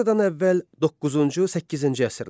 Eradan əvvəl doqquzuncu-səkkizinci əsrlər.